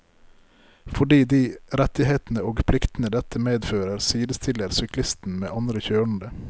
Fordi de rettighetene og pliktene dette medfører, sidestiller syklisten med andre kjørende.